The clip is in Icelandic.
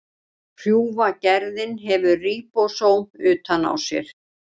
Hrjúfa gerðin hefur ríbósóm utan á sér.